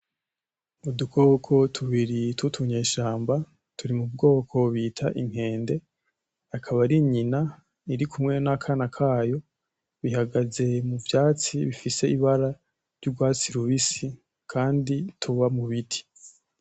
Udukoko tubiri tw'utunyeshamba turi mu bwoko bita inkende akaba ari nyina iri kumwe n'akana kayo bihagaze mu vyatsi bifise ibara ry'ugwatsi rubisi kandi tuba mu biti.